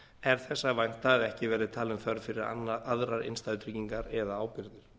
er þess að vænta að ekki verði talin þörf fyrir aðrar innstæðutryggingar eða ábyrgðir þrátt